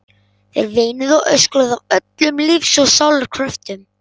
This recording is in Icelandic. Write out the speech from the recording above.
Þær veinuðu og öskruðu af öllum lífs og sálar kröftum.